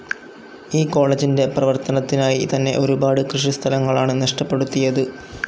ഈ കോളജിൻ്റെ പ്രവർത്തനത്തിനായി തന്നെ ഒരുപാട് കൃഷി സ്ഥലങ്ങളാണ് നഷ്ടപ്പെടുത്തിയത്.